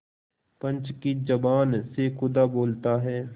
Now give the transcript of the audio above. पंच की जबान से खुदा बोलता है